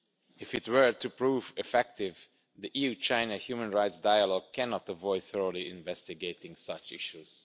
If it is to prove effective, the EU-China Human Rights Dialogue cannot avoid thoroughly investigating such issues.